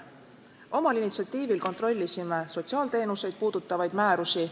Omal initsiatiivil kontrollisime sotsiaalteenuseid puudutavaid määrusi.